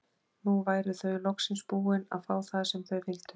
Nú væru þau loksins búin að fá það sem þau vildu.